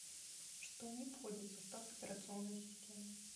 что не входит в состав операционной системы